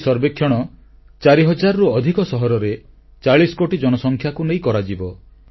ଏହି ସର୍ବେକ୍ଷଣ ଚାରି ହଜାରରୁ ଅଧିକ ସହରରେ ଚାଳିଶ କୋଟି ଜନସଂଖ୍ୟାକୁ ନେଇ କରାଯିବ